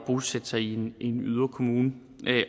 bosætte sig i en yderkommune